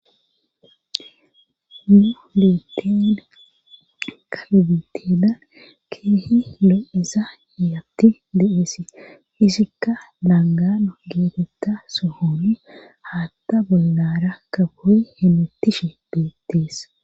Nu liiteen kalibitedan keehi loo7isa yaatti de7eesi hisikka laangano geetetta sohoni haatta bollara kakoh hemettishe beetteesa